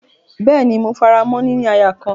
Bẹ́ẹ́ni, mo faramọ́ “ níní aya kan”.